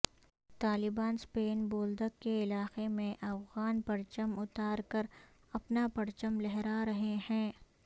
طالبان سپین بولدک کے علاقے می افغان پرچم اتار کر اپنا پرچم لہرا رہے ہیں